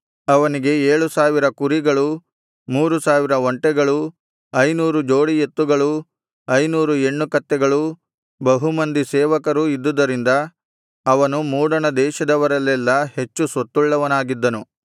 ಅವನಿಗೆ ಏಳು ಸಾವಿರ ಕುರಿಗಳೂ ಮೂರು ಸಾವಿರ ಒಂಟೆಗಳೂ ಐನೂರು ಜೋಡಿ ಎತ್ತುಗಳೂ ಐನೂರು ಹೆಣ್ಣು ಕತ್ತೆಗಳೂ ಬಹುಮಂದಿ ಸೇವಕರೂ ಇದ್ದುದರಿಂದ ಅವನು ಮೂಡಣ ದೇಶದವರಲ್ಲೆಲ್ಲಾ ಹೆಚ್ಚು ಸ್ವತ್ತುಳ್ಳವನಾಗಿದ್ದನು